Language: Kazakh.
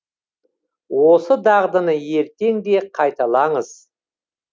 осы дағдыны ертең де қайталаңыз